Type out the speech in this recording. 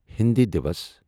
ہٕنٛدِ دیوس